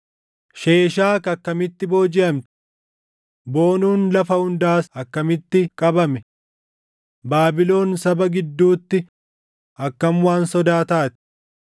“Sheeshaak akkamitti boojiʼamti! Boonuun lafa hundaas akkamitti qabame! Baabilon saba gidduutti akkam waan sodaa taati!